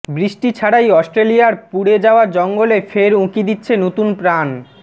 বৃষ্টি ছাড়াই অস্ট্রেলিয়ার পুড়ে যাওয়া জঙ্গলে ফের উঁকি দিচ্ছে নতুন প্রাণ